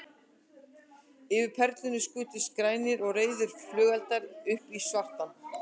Yfir Perlunni skutust grænir og rauðir flugeldar upp í svartan kvöldhimininn.